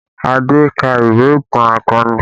Adé ka ìwé ìtàn akọni